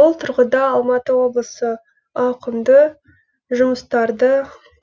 бұл тұрғыда алматы облысы ауқымды жұмыстарды